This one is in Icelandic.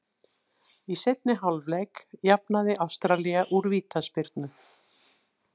Í seinni hálfleik jafnaði Ástralía úr vítaspyrnu.